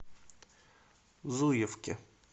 зуевке